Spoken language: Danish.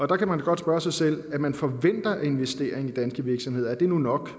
der kan man godt spørge sig selv at man forventer en investering i danske virksomheder er det nu nok